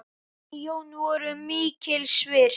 Þau Jón voru mikils virt.